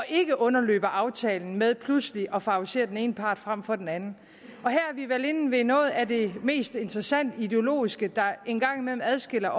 ikke underløber aftalen ved pludselig at favorisere den ene part frem for den anden og her er vi vel inde ved noget af det mest interessante ideologisk og en gang imellem adskiller